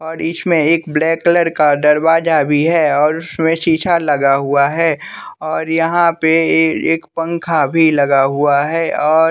और इसमें एक ब्लैक कलर का दरवाजा भी है और उसमें शीशा लगा हुआ हैं और यहां पे ये एक पंखा भी लगा हुआ हैं और--